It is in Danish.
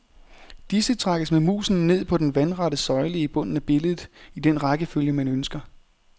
Disse trækkes med musen ned på den vandrette søjle i bunden af billedet, i den rækkefølge man ønsker.